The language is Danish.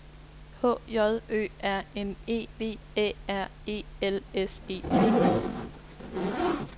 H J Ø R N E V Æ R E L S E T